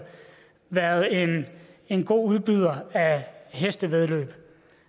været en en god udbyder af hestevæddeløb